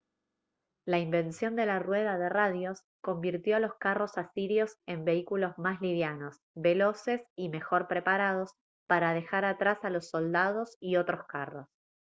la invención de la rueda de radios convirtió a los carros asirios en vehículos más livianos veloces y mejor preparados para dejar atrás a los soldados y otros carros